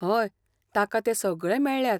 हय, ताका ते सगळे मेळ्ळ्यात.